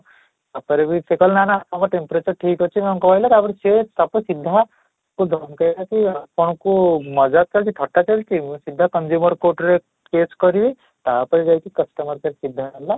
ତା'ପରେ ବି ସେ କହିଲା କି ନା ନା ଆମ team ପୁରା ତ ଠିକ ଅଛି ମାନେ କହିଲା ତା'ପରେ ସିଏ ତାକୁ ସିଧା ତାକୁ ଧମକେଇଲା କି ଆପଙ୍କୁ ଚାଲିଛି ଥଟା ଚାଲିଛି, ସିଧା consumer court ରେ case କରିବି ତା'ପରେ ଯାଇକି customer care ସିଧା ହେଲା